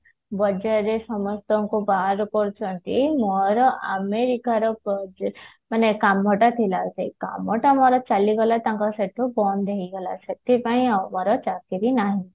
ବଜାର ରେ ସମସ୍ତଙ୍କୁ ବାହାର କରୁଛନ୍ତି ମୋର ଆମେରିକାର project ମାନେ କାମ ଟା ଥିଲା ସେଇ କାମ ଟା ମୋର ଚାଲିଗଲା ତାଙ୍କ ସେଠି ବନ୍ଦ ହେଇଗଲା ସେଥିପାଇଁ ହବାର ଚକିରି ନାହିଁ